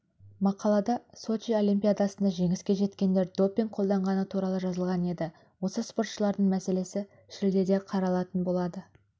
мақалада сочи олимпиадасында жеңіске жеткендер допинг қолданғаны туралы жазылған енді осы спортшылардың мәселесі шілдеде қаралатын болады